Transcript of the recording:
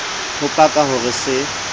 ho paka ho re se